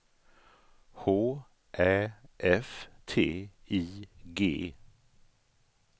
H Ä F T I G